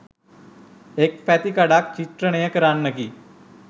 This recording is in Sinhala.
එක් පැතිකඩක් චිත්‍රණය කරන්නකි.